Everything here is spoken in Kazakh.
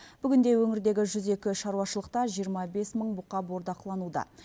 бүгінде өңірдегі жүз екі шаруашылықта жиырма бес мың бұқа бордақылануда